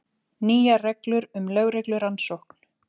Nýjar reglur um lögreglurannsókn